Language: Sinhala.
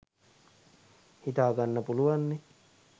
හිතාගන්න පුලුවන්නෙ